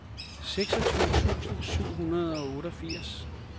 seksogtyve tusind syv hundrede og otteogfirs